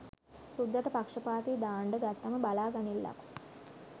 සුද්දට පක්ෂපාතීදාන්ඩ ගත්තම බලා ගනිල්ලකෝ.